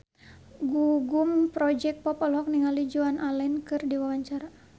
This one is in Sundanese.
Gugum Project Pop olohok ningali Joan Allen keur diwawancara